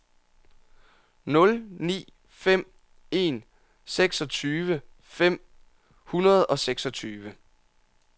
nul ni fem en seksogtyve fem hundrede og seksogtyve